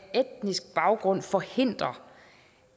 etnisk baggrund forhindrer